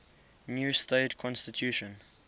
new state constitution